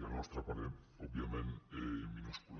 i al nostre parer òbviament minúscula